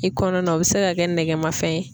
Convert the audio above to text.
I kɔnɔna na o be se ka kɛ nɛkɛmafɛn ye.